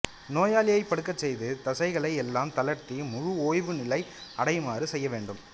நோயாளியைப் படுக்கச் செய்து தசைகளை எல்லாம் தளர்த்தி முழு ஓய்வுநிலை அடையுமாறு செய்யவேண்டும்